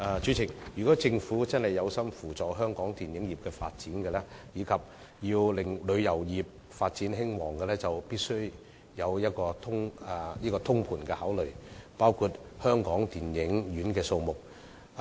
主席，如果政府真的有心扶助香港電影業發展及令旅遊業興旺，必須進行通盤考慮，包括考慮電影院的數目。